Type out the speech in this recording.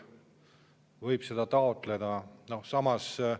Samas, miks just üks aasta?